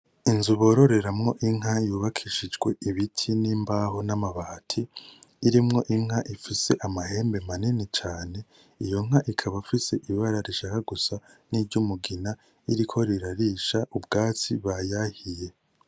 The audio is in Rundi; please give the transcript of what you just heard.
Inzu boreramwo inka yubakishijwe ibiti n'imbaho n'amabati irimwo inka ifise amahembe manini cane iyo nka ikaba ifise ibara rishaka gusa n'umugina ririko rirarisha ubwatsi bayahiriye